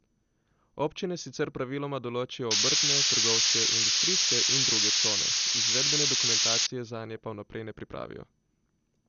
Občine sicer praviloma določijo obrtne, trgovske, industrijske in druge cone, izvedbene dokumentacije zanje pa vnaprej ne pripravijo.